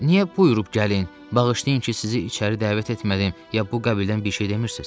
Niyə buyurun gəlin, bağışlayın ki, sizi içəri dəvət etmədim, ya bu qəbildən bir şey demirsiz?